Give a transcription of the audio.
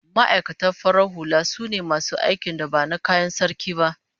Ma'aikata farar hula sune masu aikin da ba na kayan Sarki ba